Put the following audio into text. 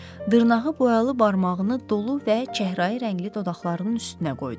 Dırnağı boyalı barmağını dolu və çəhrayı rəngli dodaqlarının üstünə qoydu.